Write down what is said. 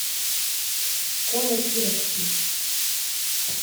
коля кировский